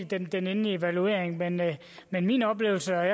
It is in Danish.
den endelige evaluering men min oplevelse er i